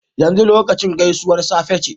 Yanzu lokacin gaisuwar safe ce